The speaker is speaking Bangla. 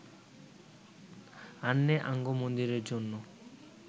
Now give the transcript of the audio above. আন্নে আঙ্গো মন্দিরের জন্য